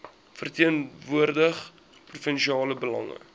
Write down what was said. verteenwoordig provinsiale belange